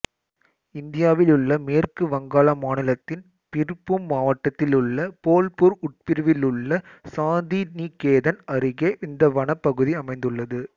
இந்தியாவிலுள்ள மேற்கு வங்காள மாநிலத்தின் பிர்பூம் மாவட்டத்திலுள்ள போல்பூர் உட்பிரிவிலுள்ள சாந்திநிகேதன் அருகே இந்த வனப்பகுதி அமைந்துள்ளது